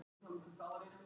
Að lýsa hlutunum